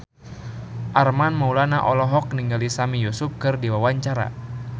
Armand Maulana olohok ningali Sami Yusuf keur diwawancara